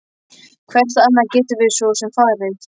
Hvert annað gætum við svo sem farið?